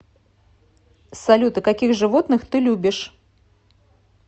салют а каких животных ты любишь